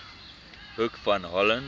hoek van holland